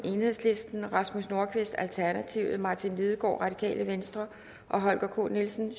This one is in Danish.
rasmus nordqvist martin lidegaard og holger k nielsen